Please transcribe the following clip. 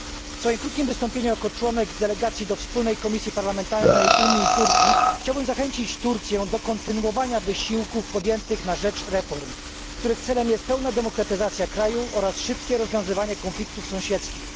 W swoim krótkim wystąpieniu jako członek delegacji do wspólnej komisji parlamentarnej Unia Turcja chciałbym zachęcić Turcję do kontynuowania wysiłków podjętych na rzecz reform, których celem jest pełna demokratyzacja kraju oraz szybkie rozwiązanie konfliktów sąsiedzkich.